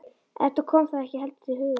Eddu kom það ekki heldur til hugar.